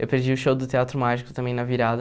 Eu perdi o show do Teatro Mágico também na virada.